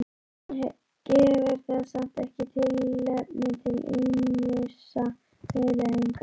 En gefur það samt ekki tilefni til ýmissa hugleiðinga?